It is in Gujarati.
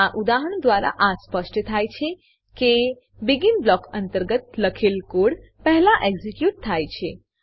આ ઉદાહરણ દ્વારા આ સ્પષ્ટ થાય છે કે બેગિન બ્લોક અંતર્ગત લખેલ કોડ પહેલા એક્ઝીક્યુટ થાય છે